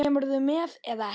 Kemurðu með eða ekki.